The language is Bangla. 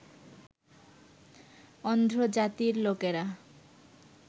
অন্ধ্র জাতির লোকেরা